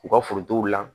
U ka forow la